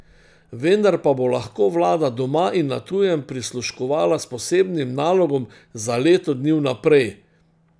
Vendar pa bo lahko vlada doma in na tujem prisluškovala s posebnim nalogom za leto dni vnaprej.